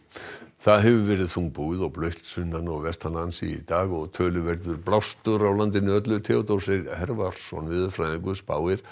það hefur verið þungbúið og blautt sunnan og vestanlands í dag og töluverður blástur á landinu öllu Theodór Freyr veðurfræðingur spáir